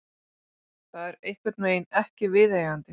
Það er einhvernveginn ekki viðeigandi.